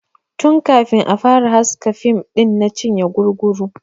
Tun kafin a fara haska fim ɗin na cinye guguru.